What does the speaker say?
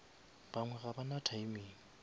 bangwe ga ba na timing